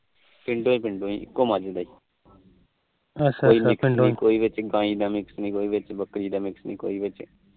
ਪਿੰਡੋ ਪਿੰਡੋ ਇਕੋ ਮੱਝ ਦਾ ਕੋਲੀ ਵਿੱਚ ਗਾਈ ਦਾ mix ਨੀ ਕੋਈ ਵਿੱਚ ਬੱਕਰੀ ਦਾ ਮਿਕਸ ਨੀ ਅੱਛਾ